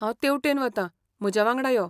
हांव तेवटेन वता, म्हज्या वांगडा यो.